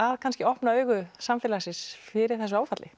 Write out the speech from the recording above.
kannski opna augu samfélagsins fyrir þessu áfalli